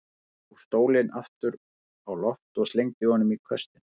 Maðurinn hóf stólinn aftur á loft og slengdi honum í köstinn.